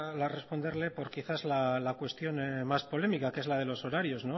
a responderle por quizás la cuestión más polémica que es la de los horarios